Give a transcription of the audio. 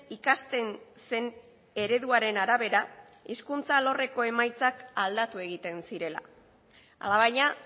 ikasten zen ereduaren arabera hezkuntza alorreko emaitzak aldatu egiten zirela alabaina